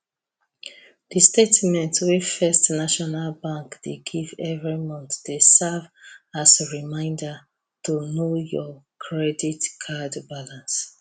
the statement wey first national bank dey give every month dey serve as reminder to know your credit card balance